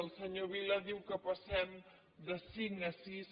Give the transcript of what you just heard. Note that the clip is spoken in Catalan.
el senyor vila diu que passem de cinc a sis